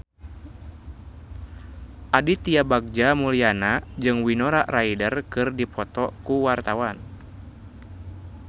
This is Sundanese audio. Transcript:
Aditya Bagja Mulyana jeung Winona Ryder keur dipoto ku wartawan